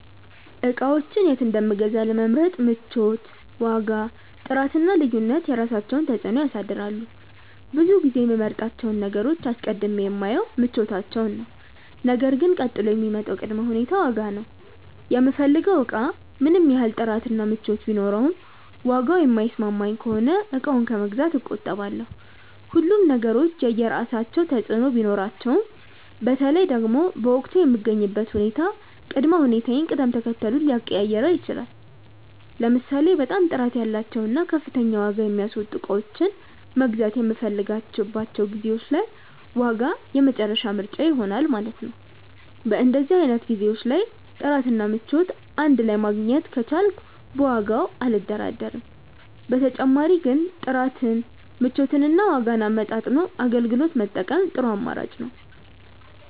እቃዎችን የት እንደምገዛ ለመምረጥ ምቾት፣ ዋጋ፣ ጥራት እና ልዩነት የራሳቸውን ተፅዕኖ ያሳድራሉ። ብዙ ጊዜ የምመርጣቸውን ነገሮች አስቀድሜ የማየው ምቾታቸውን ነው ነገር ግን ቀጥሎ የሚመጣው ቅድመ ሁኔታ ዋጋ ነው። የምፈልገው እቃ ምንም ያህል ጥራት እና ምቾት ቢኖረውም ዋጋው የማይስማማኝ ከሆነ እቃውን ከመግዛት እቆጠባለሁ። ሁሉም ነገሮች የየራሳቸው ተፅእኖ ቢኖራቸውም በተለይ ደግሞ በወቅቱ የምገኝበት ሁኔታ ቅድመ ሁኔታዬን ቅደም ተከተሉን ሊቀያይረው ይችላል። ለምሳሌ በጣም ጥራት ያላቸውን እና ከፍተኛ ዋጋ የሚያስወጡ እቃዎችን መግዛት የምፈልግባቸው ጊዜዎች ላይ ዋጋ የመጨረሻ ምርጫዬ ይሆናል ማለት ነው። በእንደዚህ አይነት ጊዜዎች ላይ ጥራት እና ምቾት እንድ ላይ ማግኘት ከቻልኩ በዋጋው አልደራደርም። በተጨማሪ ግን ጥራትን፣ ምቾትን እና ዋጋን አመጣጥኖ አገልግሎት መጠቀም ጥሩ አማራጭ ነው።